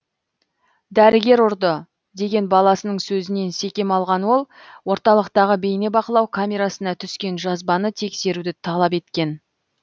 дәрігер ұрды деген баласының сөзінен секем алған ол орталықтағы бейнебақылау камерасына түскен жазбаны тексеруді талап еткен